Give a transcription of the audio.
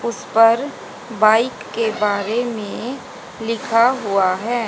उस पर बाइक के बारे में लिखा हुआ है।